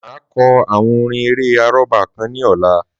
Máa kọ àwọn orin eré àrọ́bá kan ní ọ̀la.